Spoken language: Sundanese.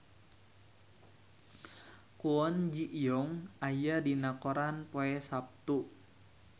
Kwon Ji Yong aya dina koran poe Saptu